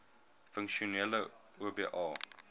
funksionele oba